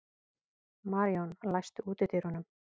Maríon, læstu útidyrunum.